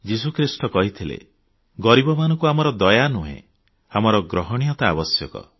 ଯୀଶୁଖ୍ରୀଷ୍ଟ କହିଥିଲେ ଗରିବମାନଙ୍କୁ ଆମର ଦୟା ନୁହେଁ ଆମର ଗ୍ରହଣୀୟତା ଆବଶ୍ୟକ